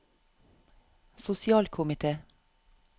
sosialkomite